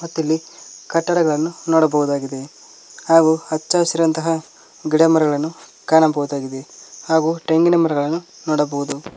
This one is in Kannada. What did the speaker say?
ಮತ್ತ್ ಇಲ್ಲಿ ಕಟ್ಟಡಗಳನ್ನು ನೋಡಬಹುದಾಗಿದೆ ಹಾಗೂ ಹಚ್ಚ ಹಸಿರಾದಂತಹ ಗಿಡ ಮರಗಳನ್ನು ಕಾಣಬಹುದಾಗಿದೆ ಹಾಗೂ ತೆಂಗಿನ ಮರಗಳನ್ನು ನೋಡಬಹುದು.